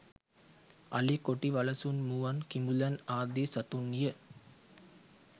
අලි කොටි වලසුන් මුවන් කිඹුලන් ආදී සතුන්ය.